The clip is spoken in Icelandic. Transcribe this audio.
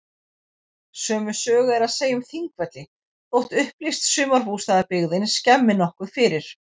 Sömu sögu er að segja um Þingvelli þótt upplýst sumarbústaðabyggðin skemmi nokkuð fyrir.